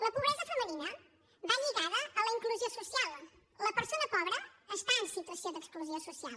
la pobresa femenina va lligada a la inclusió social la persona pobra està en situació d’exclusió social